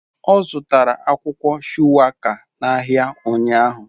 Ọ zụtara akwụkwọ shuwaka n'ahịa ụnyahụ.